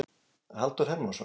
Halldór Hermannsson.